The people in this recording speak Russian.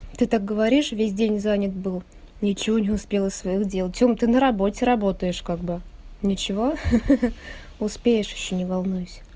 ты так говоришь весь день занят был ничего не успела своих дел тёма ты на работе работаешь как бы ничего хе-хе успеешь ещё не волнуйся